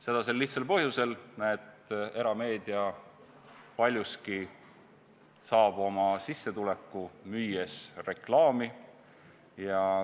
Seda sel lihtsal põhjusel, et erameedia saab paljuski oma sissetuleku, müües reklaami.